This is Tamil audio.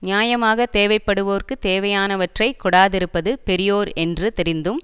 நியாயமாக தேவை படுவோர்க்கு தேவையானவற்றை கொடாதிருப்பது பெரியோர் என்று தெரிந்தும்